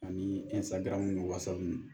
Ani ni ninnu